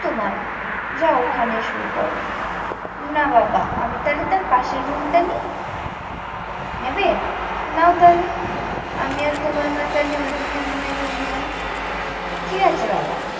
তোমার যাও ওখানেই শুয়ে পড়ো না বাবা আমি তাহলে তার পাশের room টা নি নেবে নাও তাহলে আমি আর তোমার মা তাহলে ওই দিকের room এ ঘুমাই ঠিক আছে বাবা